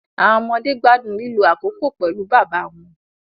Awọn ọmọde gbadun lilo akoko pẹlu baba wọn